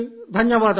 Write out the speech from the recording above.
ధన్యవాదాలు అని